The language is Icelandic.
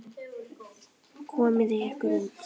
Komiði ykkur út!